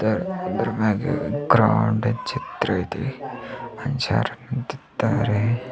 ಇದರ ಇದರ ಮ್ಯಾಗೆ ಗ್ರ್ಯಾಂಡ್ ಚಿತ್ರ ಇದೆ ಮನುಷ್ಯರು ನಿಂತಿದ್ದಾರೆ.